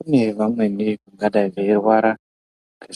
Kune vamweni vangadei veirwara